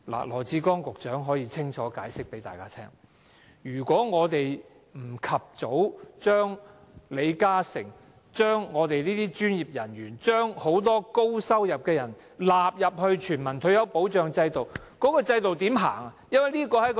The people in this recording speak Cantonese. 羅致光局長可以清楚向大家解釋，要是我們不及早將李嘉誠、我們這些專業人員，以及很多高收入人士納入全民退休保障制度，這個制度怎樣實行？